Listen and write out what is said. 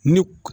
Ni